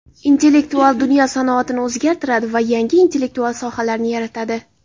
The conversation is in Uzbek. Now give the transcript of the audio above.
Intellektual dunyo sanoatni o‘zgartiradi va yangi intellektual sohalarni yaratadi.